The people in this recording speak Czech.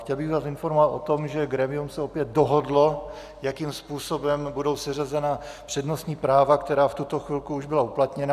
Chtěl bych vás informovat o tom, že grémium se opět dohodlo, jakým způsobem budou seřazena přednostní práva, která v tuto chvilku už byla uplatněna.